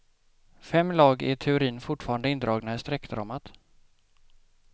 Fem lag är i teorin fortfarande indragna i streckdramat.